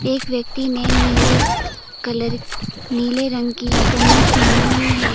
एक व्यक्ति ने नीले कलर नीले रंग की कमीज पहनी हुई है।